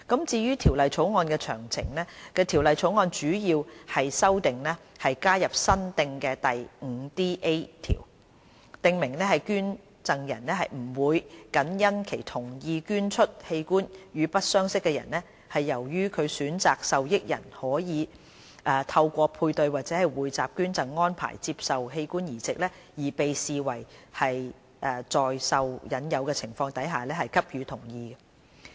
至於《條例草案》的詳情，《條例草案》的主要修訂是加入新訂的第 5DA 條，訂明捐贈人不會僅因其同意捐出器官予不相識的人，是由於其選擇的受益人可以透過配對或匯集捐贈安排接受器官移植，而被視為在受引誘的情況下給予同意。